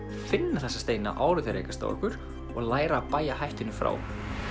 finna þessa steina áður en þeir rekast á okkur og læra að bægja hættunni frá